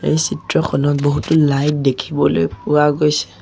এই চিত্ৰখনত বহুতো লাইট দেখিবলৈ পোৱা গৈছে।